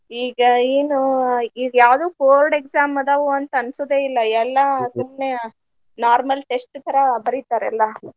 ಈಗ ಏನು ಈಗ ಯಾವ್ದು board exam ಅದಾವು ಅಂತ ಅನ್ಸೊದೆ ಇಲ್ಲಾ ಎಲ್ಲಾ ಸುಮ್ನೆ normal test ತರಾ ಬರಿತಾರ ಎಲ್ಲಾ.